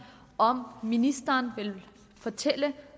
om ministeren vil fortælle